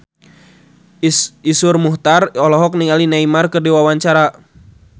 Iszur Muchtar olohok ningali Neymar keur diwawancara